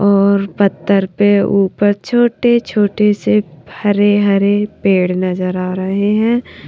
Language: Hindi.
और पत्थर पे ऊपर छोटे छोटे से हरे हरे पेड़ नजर आ रहे हैं।